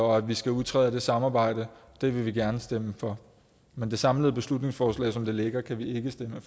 og at vi skal udtræde af det samarbejde det vil vi gerne stemme for men det samlede beslutningsforslag som det ligger kan vi ikke stemme